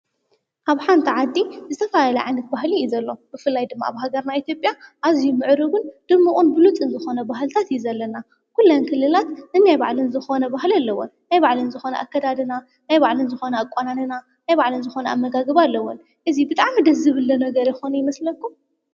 ኣብ ሓንቲ ዓዲ ዝተፋላለዩ ዓይነት ባህል እዩ ዘሎ፡፡ ብፍላይ ድማ ኣብ ሃገርና ኤትዮጵያ ኣዙይ ምዕሩግን ድምቑን ብሉፅን ዝኾነ ባህልታት እዩ ዘለና፡፡ ኲለን ክልላት ነናይ ባዕለን ዝኾነ ባህሊ ኣለውን፡፡ ናይ ባዕለን ዝኾነ ኣከዳድና ፣ናይ ባዕለን ዝኾነ ኣቋንና ነናይ ባዕለን ዝኾነ ኣመጋግባ ኣለወን፡፡ እዚ ብጣዕሚ ደዝብለ ነገር ይኾን ይመስለኩም?